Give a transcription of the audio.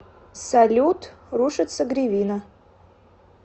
салют рушится гривина